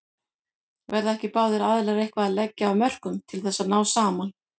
Verða ekki báðir aðilar eitthvað að leggja af mörkum til þess að ná saman?